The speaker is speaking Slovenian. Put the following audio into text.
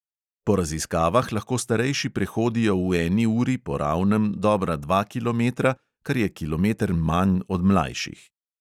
Po raziskavah lahko starejši prehodijo v eni uri po ravnem dobra dva kilometra, kar je kilometer manj od mlajših.